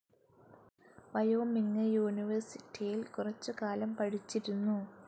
Wyoming യൂണിവെർസിറ്റിയിൽ കുറച്ചു കാലം പഠിച്ചിരുന്നു.